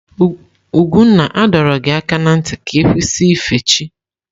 Ugwunna a dọrọ gị aka na ntị ka ị kwụsị ife chi!